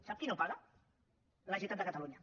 sap qui no paga la generalitat de catalunya